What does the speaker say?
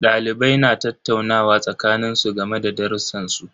Dalibai na tattaunawa a tsakanin su game da darrusan su.